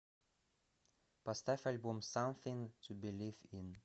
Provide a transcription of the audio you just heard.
поставь альбом самфинг ту билив ин